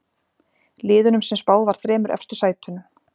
Liðunum sem spáð var þremur efstu sætunum.